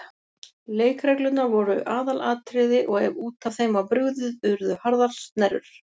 Leikreglurnar voru aðalatriði og ef út af þeim var brugðið urðu harðar snerrur.